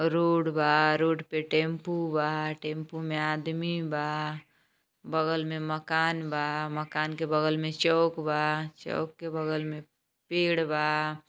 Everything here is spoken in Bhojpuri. रोड बा टेम्पू बा टेम्पू में आदमी बा बगल में मकान बा मकान के बगल में चौक बा चौक के बगल में पेड़ बा |